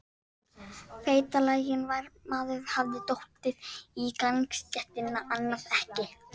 fagurt: Feitlaginn maður hafði dottið á gangstéttina, annað ekki.